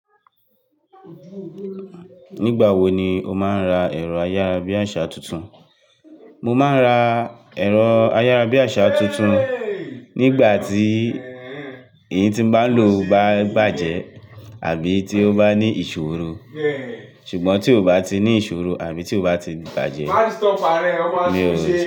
Nígbà wo ni o máa ń ra ẹ̀rọ ayárabíàṣá tuntun? Mo máa ń ra ẹ̀rọ ayárabíàṣá tuntun nígbà tí èyí tí mo bá ń lò bá bàjẹ́ àbí tí ó bá ní ìṣòro, ṣùgbọ́n tí ò bá tí ní ìṣòro àbí tí ò bá tí bàjẹ́, mi ò ṣe é.